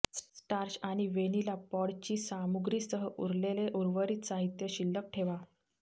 starch आणि vanilla पॉडची सामुग्रीसह उरलेले उर्वरित साहित्य शिल्लक ठेवा